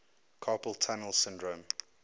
carpal tunnel syndrome